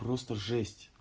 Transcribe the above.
просто жесть